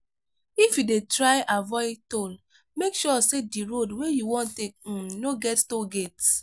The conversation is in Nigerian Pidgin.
if you dey try avoid toll make sure sey di road wey you wan take um no get toll gate